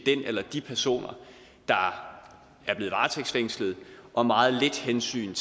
den eller de personer der er blevet varetægtsfængslet og meget lidt hensyn